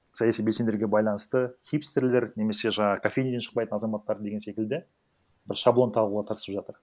саяси белсендерге байланысты хипстерлер немесе жаңағы кофейнядан шықпайтын азаматтар деген секілді бір шаблон тағуға тырысып жатыр